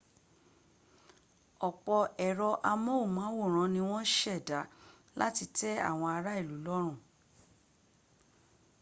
ọ̀pọ̀ ẹ̀rọ amóhùnmáwòrán ni wọ́n ṣẹ̀dá láti tẹ́ àwọn ará ìlú lọ́rùn